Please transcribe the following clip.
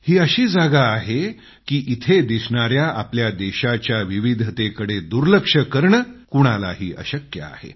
एकाच स्थानी दिसत असलेल्या आपल्या देशाच्या विविधतेकडं दुर्लक्ष करणं कुणालाही अशक्य आहे